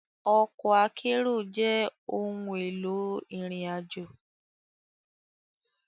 Òkò àkèéró jè óoùn éló irin àjó